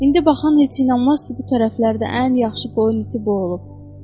İndi baxan heç inanmaz ki, bu tərəflərdə ən yaxşı qoyun iti bu olub.